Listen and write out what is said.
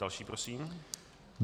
Další prosím.